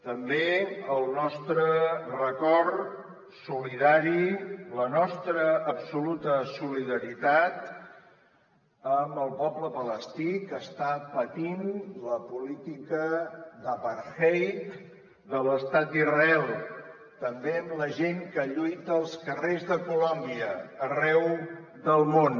també el nostre record solidari la nostra absoluta solidaritat amb el poble palestí que està patint la política d’apartheid de l’estat d’israel també amb la gent que lluita als carrers de colòmbia arreu del món